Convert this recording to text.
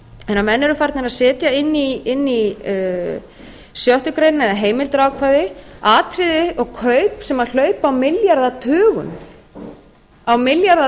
þegar menn eru farnir að setja inn í sjöttu greinina eða heimildarákvæði atriði og kaup sem hlaupa á milljarðatugum